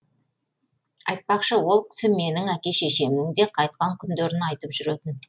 айтпақшы ол кісі менің әке шешемнің де қайтқан күндерін айтып жүретін